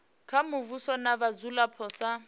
kha muvhuso na vhadzulapo sa